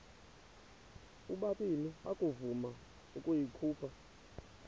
ubabini akavuma ukuyikhupha